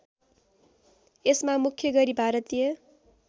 यसमा मुख्य गरी भारतीय